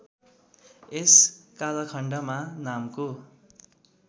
यस कालखण्डमा नामको